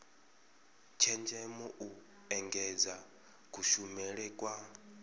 tshenzhemo u engedza kushumele kwa